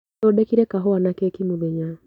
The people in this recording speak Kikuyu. Thondekire kahũa na keki mũthenya.